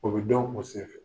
O be dɔn o sen fɛ.